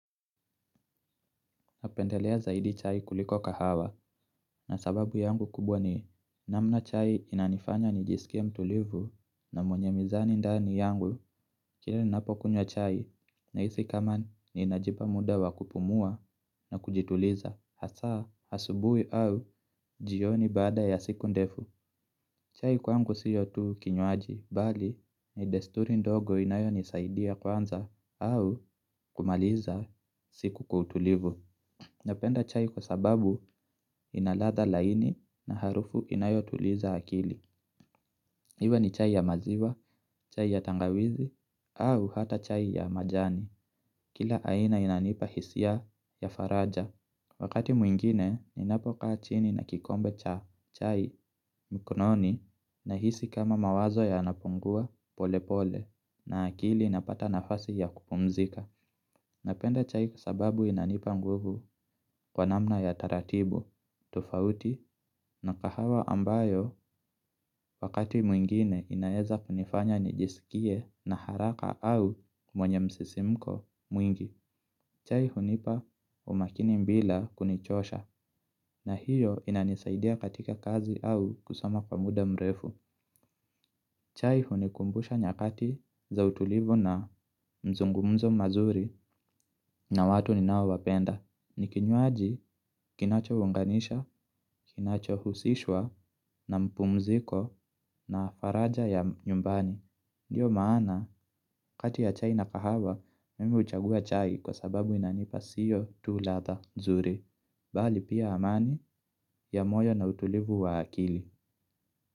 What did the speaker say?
Napendelea zaidi chai kuliko kahawa. Na sababu yangu kubwa ni namna chai inanifanya nijisikie mtulivu na mwenye mizani ndani yangu. Lakini ninapokunywa chai nahisi kama ninajipa muda wa kupumzika na kujituliza, hasa asubuhi au jioni baada ya siku ndefu. Chai kwangu sio tu kinywaji, bali ni desturi ndogo inayo nisaidia kuanza au kumaliza siku kwa utulivu. Napenda chai kwa sababu ina ladha laini na harufu inayotuliza akili. Iwe ni chai ya maziwa, chai ya tangawizi, au hata chai ya majani. Kila aina inanipa hisia ya faraja. Wakati mwingine, ninapokaa chini na kikombe cha chai mkononi, nahisi kama mawazo yanapungua pole pole na akili inapata nafasi ya kupumzika. Napenda chai kwa sababu inanipa nguvu kwa namna ya taratibu tofauti na kahawa ambayo wakati mwingine, inaweza kunifanya nijisikie na haraka au mwenye msisimko mwingi. Chai hunipa umakini bila kunichosha, na hio inanisaidia katika kazi au kusoma kwa muda mrefu. Chai hunikumbusha nyakati za utulivu na mazungumzo mazuri na watu ninaowapenda. Ni kinywaji kinachounganisha, kinacho husishwa na mapumziko na faraja ya nyumbani. Ndio maana, kati ya chai na kahawa mimi huchagua chai kwa sababu inanipa sio tu ladha nzuri. Bali pia amani ya moyo na utulivu wa akili.